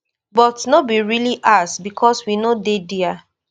but no be really ours becos we no dey dia